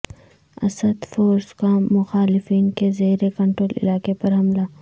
Asad forces کا مخالفین کے زیر کنٹرول علاقے پر حملہ